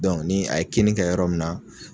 ni a ye kini kɛ yɔrɔ min na.